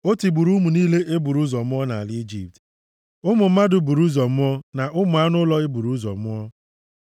O tigburu ụmụ niile e buru ụzọ mụọ nʼala Ijipt, ụmụ mmadụ buru ụzọ mụọ na ụmụ anụ ụlọ e buru ụzọ mụọ.